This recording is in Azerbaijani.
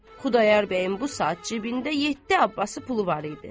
Xudayar bəyin bu saat cibində yeddi Abbası pulu var idi.